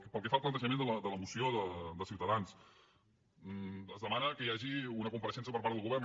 pel que fa al plantejament de la moció de ciutadans es demana que hi hagi una compareixença per part del govern